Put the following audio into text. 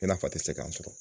I n'a fɔ a tɛ se k'a sɔrɔ.